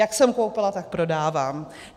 Jak jsem koupila, tak prodávám.